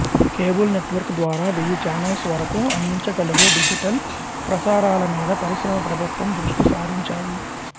cable network ద్వారా వెయ్యి channels వరకూ అందించగలిగే డిజిటల్ ప్రసారాలమీద పరిశ్రమ ప్రభుత్వం దృష్టి సారించాయి